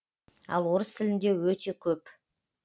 ал орыс тілінде өте көп